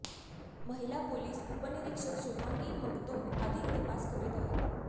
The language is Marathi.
महिला पोलीस उपनिरीक्षक शुभांगी मगदुम अधिक तपास करीत आहेत